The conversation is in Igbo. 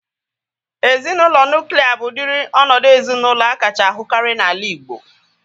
Ezinaụlọ nuklia bụ udiri ọnọdụ ezinaụlọ akacha ahukari n'ala Igbo